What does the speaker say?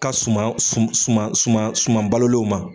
Ka suman sum suman suman suman balolenw ma